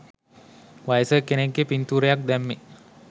වයසක කෙනෙක්ගේ පින්තූරයක් දැම්මේ?